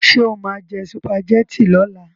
Ṣé o máa jẹ sùpàgẹ́tì lọ́la?